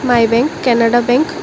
My bank Canara bank.